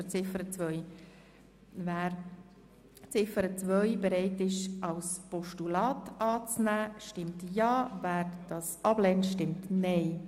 Wer Ziffer 2 als Postulat annehmen will, stimmt Ja, wer sie ablehnt, stimmt Nein.